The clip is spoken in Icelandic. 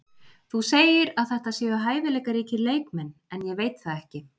Þú segir að þetta séu hæfileikaríkir leikmenn en ég veit það ekki.